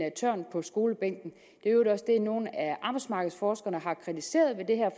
tørn på skolebænken øvrigt også det nogle af arbejdsmarkedsforskerne har kritiseret ved det her